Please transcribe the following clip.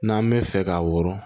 N'an bɛ fɛ k'a wɔrɔ